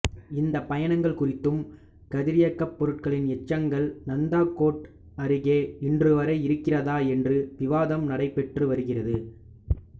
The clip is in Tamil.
இந்த பயணங்கள் குறித்தும் கதிரியக்கப் பொருட்களின் எச்சங்கள் நந்தா கோட் அருகே இன்றுவரை இருக்கிறதா என்றும் விவாதம் நடைபெற்று வருகிறது